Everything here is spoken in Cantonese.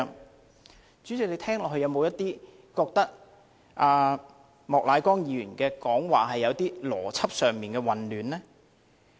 代理主席，你聽到後，有否感到莫乃光議員的發言有邏輯上的混亂呢？